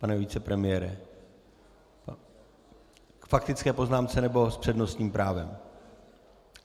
Pane vicepremiére, k faktické poznámce, nebo s přednostním právem?